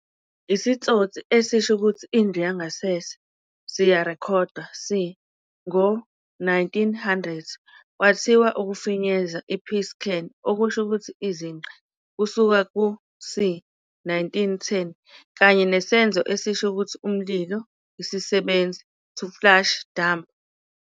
isitsotsi esisho ukuthi "indlu yangasese" siyarekhodwa c. Ngo-1900, kwathiwa ukufinyeza i-piss-can, okusho ukuthi "izinqa" kusuka ku-c. 1910, kanye nesenzo esisho ukuthi "umlilo isisebenzi", to flush dump?